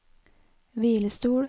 hvilestol